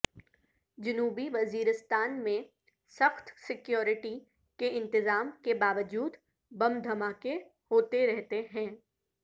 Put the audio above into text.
جنوبی وزیرستان میں سخت سکیورٹی کے انتظام کے باوجود بم دھماکے ہوتے رہتے ہیں